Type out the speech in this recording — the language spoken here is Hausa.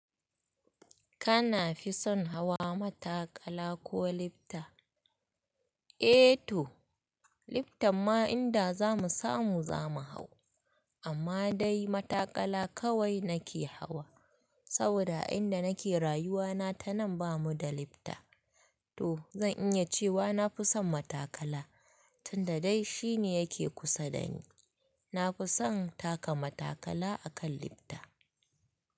Kana fi son hawa matakala ko lifta? Eh to, lifta ma inda za mu samu za mu hau. Amma dai matakala kawai nake hawa. Saboda a inda nake rayuwa na ta nan bamu da lifta. To zan iya cewa na fi son matakala, tunda dai shine yake kusa dani. Na fi son taka matakala akan lifta.